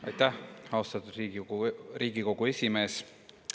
Aitäh, austatud Riigikogu esimees!